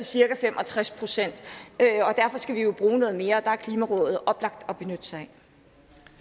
cirka fem og tres procent derfor skal vi jo bruge noget mere og der